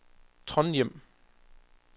Trondhjem